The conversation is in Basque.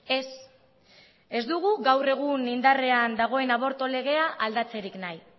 ez ez dugu gaur egun indarrean dagoen abortu legea aldatzerik nahi